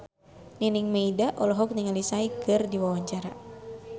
Nining Meida olohok ningali Psy keur diwawancara